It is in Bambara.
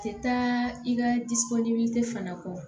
Tɛ taa i ka disi fana kɔ